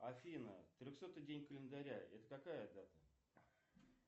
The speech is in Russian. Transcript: афина трехсотый день календаря это какая дата